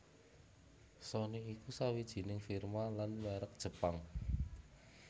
Sony iku sawijining firma lan mèrek Jepang